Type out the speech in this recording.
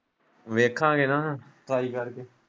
ਵੇਖਾਂਗੇ ਨਾ ਟਰਾਈ ਕਰਕੇ।